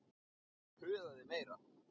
Og puðaði meira.